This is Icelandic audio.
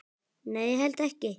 Nei, ég held ekki.